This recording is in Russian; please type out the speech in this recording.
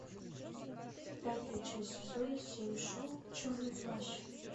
пятая часть сезона семь шоу черный плащ